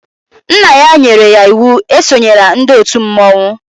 Nna ya nyere ya íwú e sonyela ndị òtù mmọnwụ